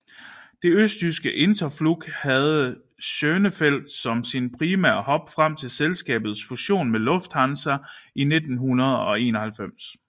Det østtyske Interflug havde Schönefeld som sin primære hub frem til selskabets fusion med Lufthansa i 1991